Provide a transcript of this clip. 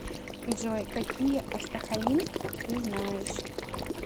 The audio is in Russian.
джой какие астахалин ты знаешь